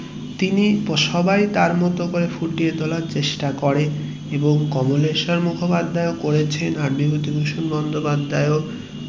তিনি সবাই তার মতো করে ফুটিয়ে তোলার চেষ্টা করেন এবং কমলেশ্বর মুখোপাধ্যায় ও করেছেন আর বিভূতিভূষণ বন্দোপাধ্যায় ও